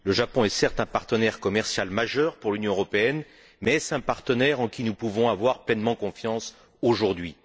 Le Japon est certes un partenaire commercial majeur pour l'Union européenne, mais est ce un partenaire en qui nous pouvons avoir pleinement confiance aujourd'hui?